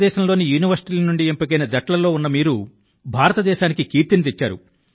భారతదేశంలోని యూనివర్శిటీల నుండి ఎంపికైన జట్టుల్లో ఉన్న మీరు భారతదేశానికి కీర్తిని తెచ్చారు